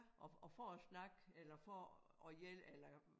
Og og for at snakke eller for at hjælpe eller